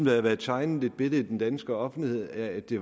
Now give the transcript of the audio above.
har været tegnet et billede i den danske offentlighed af at det